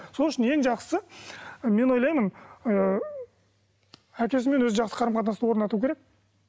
сол үшін ең жақсысы мен ойлаймын ы әкесімен өзі жақсы қарым қатынасты орнату керек